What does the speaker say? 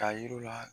K'a yir'u la